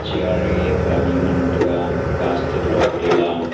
chair ye ngantaga plastic lopley la.